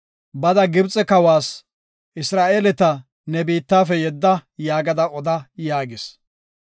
“Bada Gibxe kawas, ‘Isra7eeleta ne biittafe yedda’ yaagada oda” yaagis.